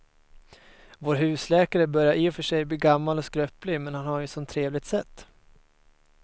Vår husläkare börjar i och för sig bli gammal och skröplig, men han har ju ett sådant trevligt sätt!